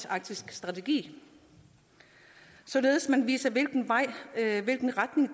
arktiske strategi således at man viser hvilken vej